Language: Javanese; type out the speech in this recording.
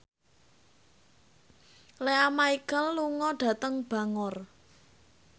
Lea Michele lunga dhateng Bangor